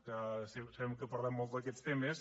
que sembla que parlem molt d’aquests temes